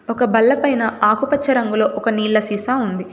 ఒక బల్ల పైన ఆకుపచ్చ రంగులో ఒక నీళ్ల సీసా ఉంది.